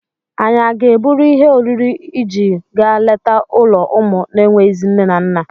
Ànyị a ga-eburu ihe oriri iji gaa leta ụlọ ụmụ na-enweghịzị nne na nna?